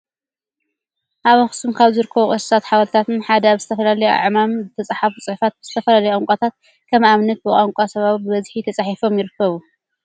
ኣብ ኣክሱም ካብ ዝርከቡ ቅርስታትን ሓወልትታትን ሓደ ኣብ ዝተፈላለዩ ኣዕማን ዝተፅሓፉ ፅሑፋትን ብዝተፈላለዩ ቋንቋታት ከም ኣብነት ብቋንቋ ሳባዊ ብበዝሒ ተፃሒፎም ይርከቡ ።